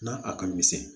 Na a ka misɛn